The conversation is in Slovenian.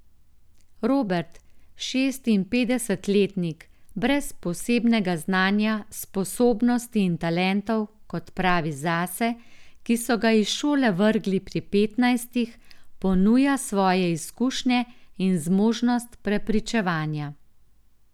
Robert, šestinpetdesetletnik, brez posebnega znanja, sposobnosti in talentov, kot pravi zase, ki so ga iz šole vrgli pri petnajstih, ponuja svoje izkušnje in zmožnost prepričevanja.